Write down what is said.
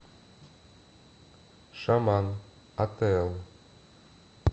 шаман атээл